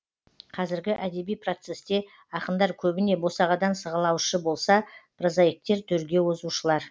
қазіргі әдеби процесте ақындар көбіне босағадан сығалаушы болса прозаиктер төрге озушылар